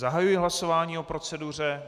Zahajuji hlasování o proceduře.